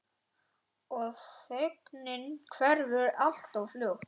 Og þögnin hverfur alltof fljótt.